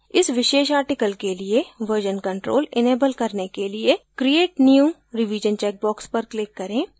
इस विशेष article के लिए version control enable करने के लिए create new revision चैकबॉक्स पर click करें